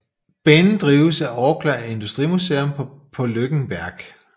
Banen drives af Orkla Industrimuseum på Løkken Verk